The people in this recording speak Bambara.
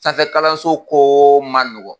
Sanfɛ kalanso ko man nɔgɔn.